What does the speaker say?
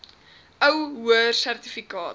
ou hoër sertifikaat